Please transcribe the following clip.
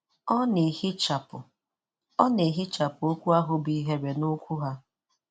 Ọ na-ehichapụ Ọ na-ehichapụ okwu ahụ bụ 'ihere' n'okwu ha.